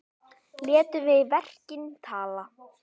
Létum við verkin tala.